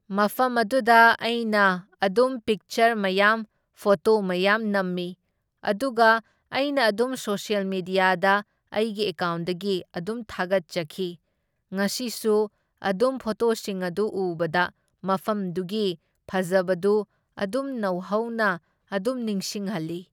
ꯃꯐꯝ ꯑꯗꯨꯗ ꯑꯩꯈꯣꯏꯅ ꯑꯗꯨꯝ ꯄꯤꯛꯆꯔ ꯃꯌꯥꯝ ꯐꯣꯇꯣ ꯃꯌꯥꯝ ꯅꯝꯃꯤ, ꯑꯗꯨꯒ ꯑꯩꯅ ꯑꯗꯨꯝ ꯁꯣꯁꯦꯜ ꯃꯦꯗ꯭ꯌꯥꯗ ꯑꯩꯒꯤ ꯑꯦꯀꯥꯎꯟꯗꯒꯤ ꯑꯗꯨꯝ ꯊꯥꯒꯠꯆꯈꯤ, ꯉꯁꯤꯁꯨ ꯑꯗꯨꯝ ꯐꯣꯇꯣꯁꯤꯡ ꯑꯗꯨ ꯎꯕꯗ ꯃꯐꯝꯗꯨꯒꯤ ꯐꯖꯕꯗꯨ ꯑꯗꯨꯝ ꯅꯧꯍꯧꯅ ꯑꯗꯨꯝ ꯅꯤꯡꯁꯤꯡꯍꯜꯂꯤ꯫